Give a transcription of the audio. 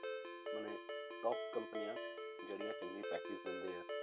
ਮਨੇ top ਕੰਪਨੀਆਂ ਜਿਹੜੀਆਂ ਚੰਗੇ package ਦਿੰਦੇ ਆ,